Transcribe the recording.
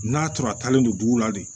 N'a tora a talen don dugu la de